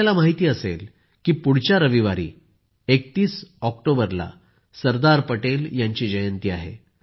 आपल्याला माहित असेल की पुढच्या रविवारी ३१ ऑक्टोबरला सरदार पटेल यांची जयंती आहे